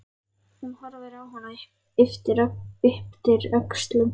Hún horfir á hann og ypptir öxlum.